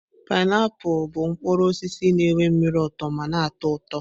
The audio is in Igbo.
painiapulu bụ mkpụrụ osisi na nwe mmiri uto ma na-atọ ụtọ.